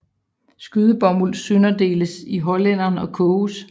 Skydebomuld sønderdeles i hollænderen og koges